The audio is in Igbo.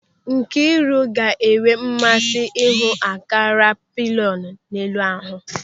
Nkịru ga-enwe mmasị ịhụ ankara peplọnu elu ahụ.